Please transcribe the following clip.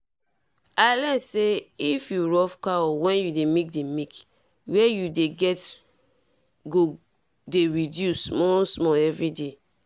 i learn say if you rough cow when you dey milk the milk wey you dey get go dey reduce small small everyday.